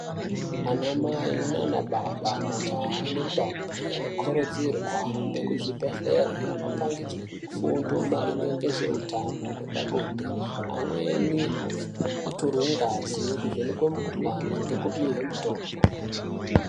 Ana mai nana baba, majaha nendombi anokurudzirwe kuhambe kuzvibhedhlere anopangidzwe fundo maringe ngezveutano hwepabonde, amweni otorwe ngazi kuvhenekwe mikuhlani ngekupihwe mitombo.